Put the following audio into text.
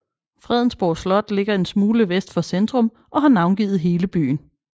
Fredensborg Slot ligger en smule vest for centrum og har navngivet hele byen